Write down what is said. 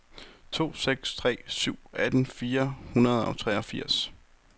to seks tre syv atten fire hundrede og treogfirs